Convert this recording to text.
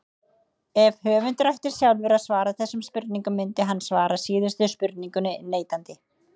Ef höfundur ætti sjálfur að svara þessum spurningum myndi hann svara síðustu spurningunni neitandi.